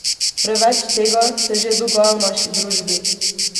Preveč tega se že dogaja v naši družbi.